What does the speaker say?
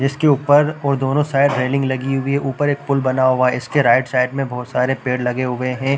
इसके ऊपर और दोनों साइड रेलिंग लगी हुई है ऊपर एक पूल बना हुआ है इसके राईट साइड में बहोत सारे पेड़ लगे हुए है।